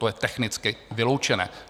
To je technicky vyloučené.